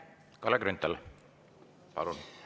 Kalle Grünthal, palun!